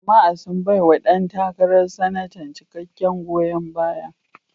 Jama'a sun baiwa ɗan takarar Sanatan cikakken goyon baya.